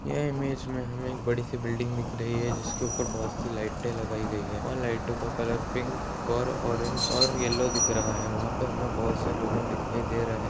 यह इमेज में हमें एक बड़ी सी बिल्डिंग दिख रही है जिसके ऊपर बहोत सी लाइटें लगाई गई है वहाँ लाइटों का कलर पिंक और ऑरेंज और येलो दिख रहा है वहाँ पे हमें बहोत से लोगन दिखाई दे रहे --